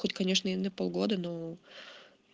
хоть конечно и на полгода ну